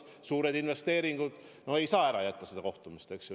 Suured investeeringud, no ei saa ära jätta seda kohtumist.